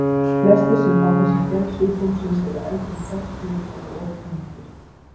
Flestir sem fá þessa gerð sjúkdómsins eru eldri en fertugir og of þungir.